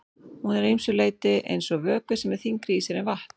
Hún er að ýmsu leyti eins og vökvi sem er þyngri í sér en vatn.